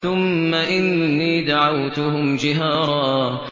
ثُمَّ إِنِّي دَعَوْتُهُمْ جِهَارًا